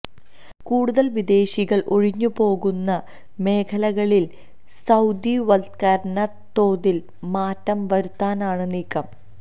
കൂടുതൽ വിദേശികൾ ഒഴിഞ്ഞുപോകുന്ന മേഖലകളിൽ സൌദിവത്കരണ തോതിൽ മാറ്റം വരുത്താനാണ് നീക്കം